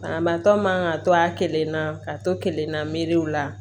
Banabaatɔ man ka to a kelen na ka to kelenna miiri la